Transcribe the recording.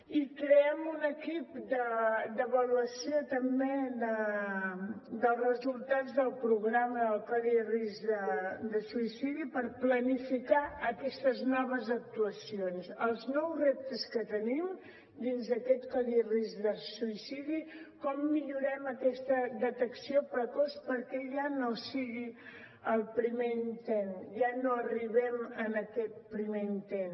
i creem un equip d’avaluació també dels resultats del programa del codi risc de suïcidi per planificar aquestes noves actuacions els nous reptes que tenim dins aquest codi risc de suïcidi com millorem aquesta detecció precoç perquè ja no sigui el primer intent ja no arribem a aquest primer intent